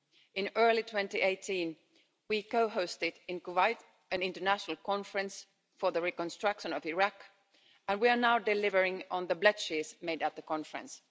In early 2018, we co hosted in Kuwait an international conference for the reconstruction of Iraq, and we are now delivering on the pledges made at the conference.